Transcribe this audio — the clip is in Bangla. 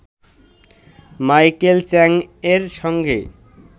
মাইকেল চ্যাংয়ের সঙ্গে